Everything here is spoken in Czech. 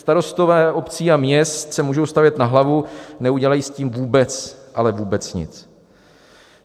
Starostové obcí a měst se můžou stavět na hlavu, neudělají s tím vůbec ale vůbec nic!